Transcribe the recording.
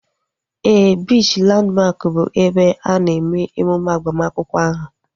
Éè, biichi Landmark bụ ebe a na-eme emume agbamakwụkwọ ahu